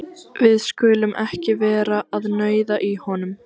Við skulum ekki vera að nauða í honum.